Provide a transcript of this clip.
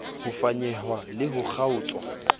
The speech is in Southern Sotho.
ho fanyehwa le ho kgaotswa